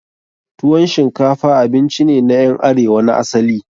Tuwon shinkafa abinci ne na ƴan arewa na asali.